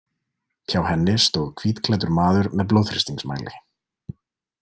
Hjá henni stóð hvítklæddur maður með blóðþrýstingsmæli.